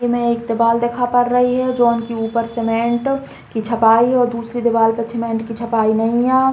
इ में एक देबाल दिखा पड़ रही है जोन के ऊपर सीमेंट की छपाई है और दूसरी दिबाल पे सीमेंट की छपाई नहीं है।